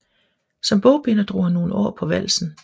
Som bogbinder drog han nogle år på valsen